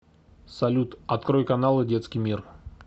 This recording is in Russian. салют открой каналы детский мир